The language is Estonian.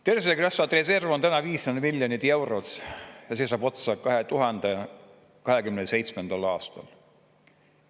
Tervisekassa reserv on täna 500 miljonit eurot ja see saab otsa 2027. aastal.